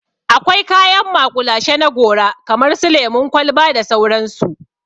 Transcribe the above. Akwai kayan maƙulashe na gora kamar su lemun kwalba da sauransu.